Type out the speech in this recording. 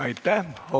Aitäh!